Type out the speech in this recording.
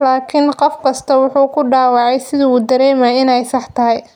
laakiin qof kastaa wuxuu ku dhawaaqay sida uu dareemayo inay sax tahay.